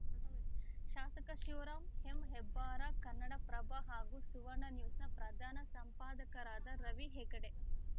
ಶಾಸಕ ಶಿವರಾಮ ಎಂಹೆಬ್ಬಾರ್‌ ಕನ್ನಡಪ್ರಭ ಹಾಗೂ ಸುವರ್ಣ ನ್ಯೂಸ್‌ನ ಪ್ರಧಾನ ಸಂಪಾದಕರಾದ ರವಿ ಹೆಗಡೆ